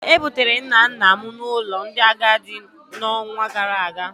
E bugara nna nna m n'ụlọ ndị agadi n'ọnwa gara aga